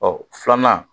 Ɔ filanan